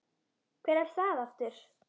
Hver er það aftur?